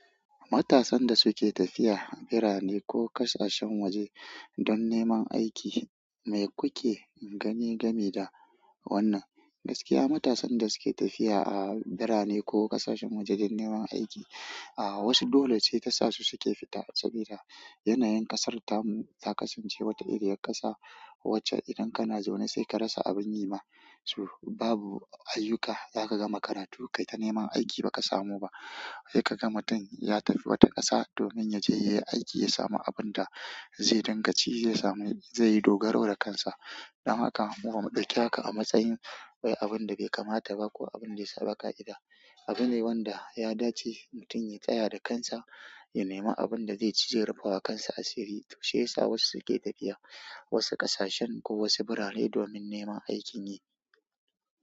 Matasan da suke tafiya birane ko ƙasashen waje don neman aiki me kuke gane gamw da wannan? Gaskiya matasan da suke tafiya a birane ko ƙasashen waje don neman aiki, aa wasu dole ce ta sa su suke fita saboda yanayin ƙasar mu ta kasance wata iriyar ƙasa wacce idan kana zaune sai ka rasa abin yi ma. Tor babu ayuka za ka ga makarantu ka yi ta neman aiki ma ba ka samu ba sai ka gama mutum ya tafi wata ƙasa domin yaje yayi aiki ya samu abun da zai din ga ci, zai samu, zai dogaro da kansa. Dan haka mu bamu ɗauki haka a matsayin wai abun da bai kamata ba ko abin da ya saba ƙa'ida. Abune wanda ya dace mutum ya tsaya da kansa, ya nema abun da zai ci zau rufawa kansa asiri. Tor shi ya wasu ke tafiya wasu ƙasashen ko wasu birane don neman aiki.